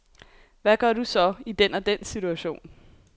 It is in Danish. Hvad gør du så i den og den situation.